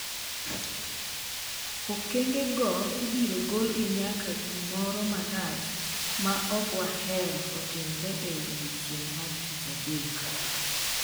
Okengego ibiro gologi nyaka gimoro marach ma ok wahero otimre e odiechieng’ mar Tich adek'' .